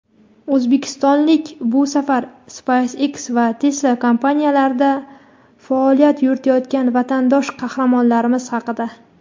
"O‘zbekistonlik": Bu safar "SpaceX" va "Tesla" kompaniyalarida faoliyat yuritayotgan vatandosh qahramonlarimiz haqida.